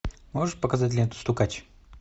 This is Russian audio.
можешь показать ленту стукач